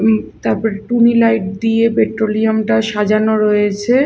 উম তারপর টুনি লাইট দিয়ে পেট্রোলিয়ামটা সাজানো রয়েছে।